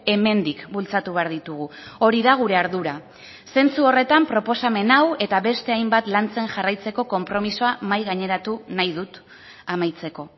hemendik bultzatu behar ditugu hori da gure ardura zentzu horretan proposamen hau eta beste hainbat lantzen jarraitzeko konpromisoa mahai gaineratu nahi dut amaitzeko